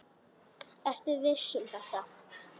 Ertu viss um þetta?